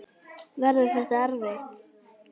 Verður þetta erfitt?